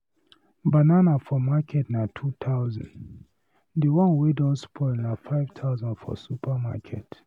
Banana for market na #2000, the one wey don spoil na #5000 for supermarket.